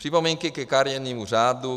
Připomínky ke kariérnímu řádu.